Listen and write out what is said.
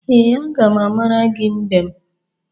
Ee, aga m amara gi mbem.